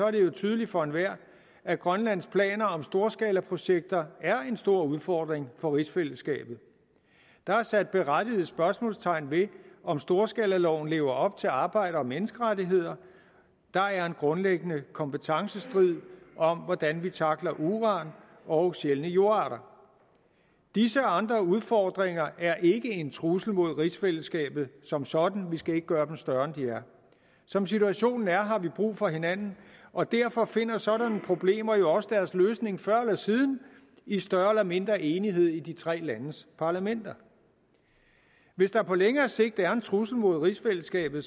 det jo tydeligt for enhver at grønlands planer om storskalaprojekter er en stor udfordring for rigsfællesskabet der er sat berettiget spørgsmålstegn ved om storskalaloven lever op til arbejds og menneskerettigheder der er en grundlæggende kompetencestrid om hvordan vi tackler uran og sjældne jordarter disse andre udfordringer er ikke en trussel mod rigsfællesskabet som sådan vi skal ikke gøre dem større end de er som situationen er har vi brug for hinanden og derfor finder sådanne problemer jo også deres løsning før eller siden i større eller mindre enighed i de tre landes parlamenter hvis der på længere sigt er en trussel mod rigsfællesskabet